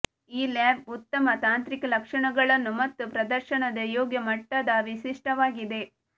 ಈ ಲ್ಯಾಪ್ ಉತ್ತಮ ತಾಂತ್ರಿಕ ಲಕ್ಷಣಗಳನ್ನು ಮತ್ತು ಪ್ರದರ್ಶನದ ಯೋಗ್ಯ ಮಟ್ಟದ ವಿಶಿಷ್ಟವಾಗಿದೆ